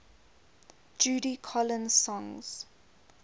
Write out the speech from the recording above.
judy collins songs